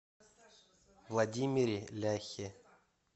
владимире ляхе